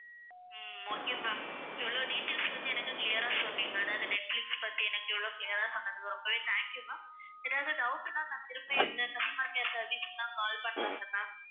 உம் okay ma'am இவ்ளோ details வந்து எனக்கு clear ஆ சொன்னீங்க. அதாவது நெட்பிலிஸ் பத்தி எனக்கு இவ்வளவு clear ஆ சொன்னதுக்கு ரொம்பவே thank you ma'am. ஏதாவது doubt ன்னா நான் திரும்பவும் இந்த number க்கே service னா நான் call பண்ணலாம் இல்ல ma'am?